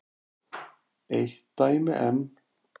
Eitt dæmi enn.